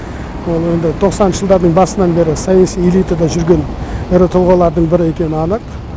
ол енді тоқсаныншы жылдардың басынан бері саяси элитада жүрген ірі тұлғалардың бірі екені анық